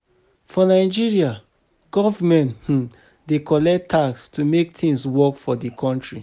For Nigeria, government um dey collect tax to make things work for di country